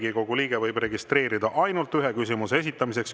Riigikogu liige võib registreeruda ainult ühe küsimuse esitamiseks.